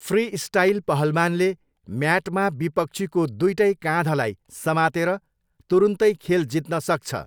Freestyle पहलवानले म्याटमा विपक्षीको दुइटै काँधलाई समातेर तुरुन्तै खेल जित्न सक्छ।